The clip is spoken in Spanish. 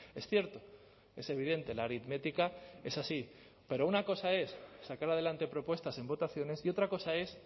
es cierto es evidente la aritmética es así pero una cosa es sacar adelante propuestas en votaciones y otra cosa es